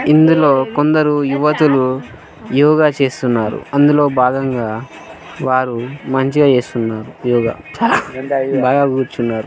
ఇందులో కొందరు యువతులు యోగ చేస్తున్నారు .అందులో బాగంగా వారు మంచిగా చేస్తునారు. యోగ బాగా కూర్చున్నారు.